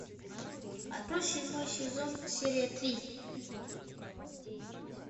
открой седьмой сезон серия три